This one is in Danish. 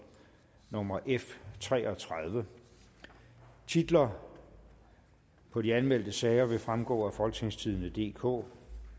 nummer f tre og tredive titler på de anmeldte sager vil fremgå af folketingstidende DK